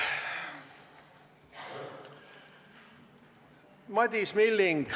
Madis Milling.